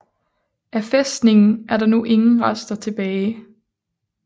Af fæstningen er der nu ingen rester tilbage